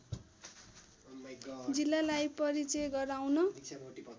जिल्लालाई परिचय गराउन